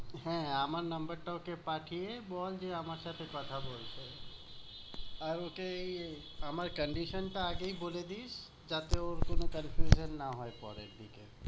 হ্যাঁ আমার number টা ওকে পাঠিয়ে বল যে আমার সাথে কথা বলতে। আর ওকে আমার condition টা আগেই বলে দিস যাতে ওর কোনো confusion না হয় পরের দিকে।